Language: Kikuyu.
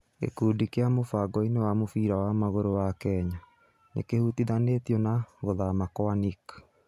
Gĩkundi kĩrĩ mũfangoinĩ wa mũbira wa magũrũ wa Kenya, nĩkĩhutithanĩtio na guthama kwa Nick.